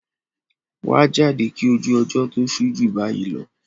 wà á jáde kí ojú ọjọ́ tó ṣú jù bayi lọ!